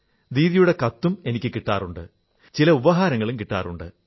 ദീദിയുടെ കത്തും എനിക്കും കിട്ടാറുണ്ട് ചില ഉപഹാരങ്ങളും കിട്ടാറുണ്ട്